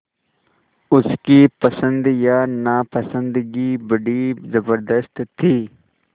उसकी पसंद या नापसंदगी बड़ी ज़बरदस्त थी